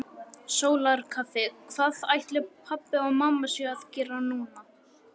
Sólarkaffi Hvað ætli pabbi og mamma séu að gera núna?